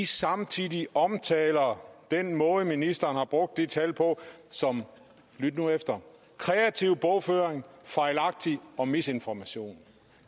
samtidig omtaler den måde ministeren har brugt de tal på som lyt nu efter kreativ bogføring fejlagtig og misinformation